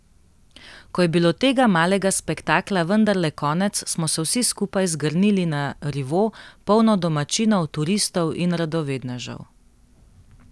Ko je bilo tega malega spektakla vendarle konec, smo se vsi skupaj zgrnili na rivo, polno domačinov, turistov in radovednežev.